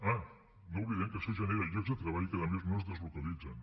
ah no oblidem que això genera llocs de treball i que a més no es deslocalitzen